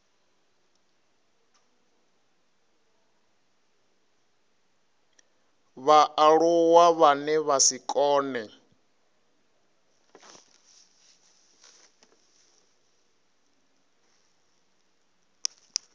vhaaluwa vhane vha si kone